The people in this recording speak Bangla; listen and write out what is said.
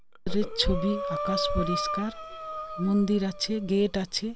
যে ছবি আকাস পরিস্কার মন্দির আছে গেট আছে।